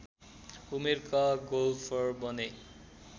उमेरका गोल्फर बने